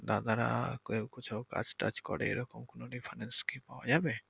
দাদারা কেউ কিছু কাজ টাজ করে এরকম reference কি পাওয়া যাবে?